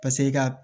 Paseke i ka